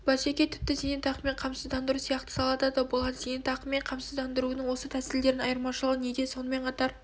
бәсеке тіпті зейнетақымен қамсыздандыру сияқты салада да болады зейнетақымен қамсыздандырудың осы тәсілдерінің айырмашылығы неде сонымен қатар